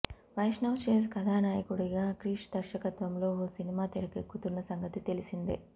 వైష్ణవ్ తేజ్ కథానాయకుడిగా క్రిష్ దర్శకత్వంలో ఓ సినిమా తెరకెక్కుతున్న సంగతి తెలిసిందే